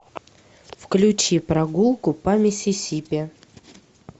включи прогулку по миссисипи